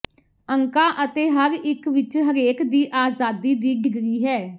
ਅੰਕਾਂ ਅਤੇ ਹਰ ਇਕ ਵਿਚ ਹਰੇਕ ਦੀ ਆਜ਼ਾਦੀ ਦੀ ਡਿਗਰੀ ਹੈ